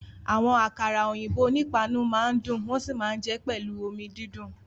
Àwọn àkàrà òyìnbó onípáànù máa ń dùn wọ́n sì máa ń jẹ ẹ́ pẹ̀lú omi dídùn